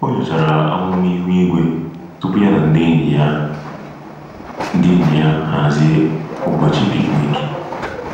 Ọ nyochara amụma ihu igwe tupu ya na ndị enyi ya ndị enyi ya hazie ụbọchị picnic.